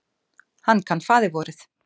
Hann kann faðirvorið.